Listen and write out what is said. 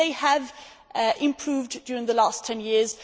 They have improved during the last 10 years.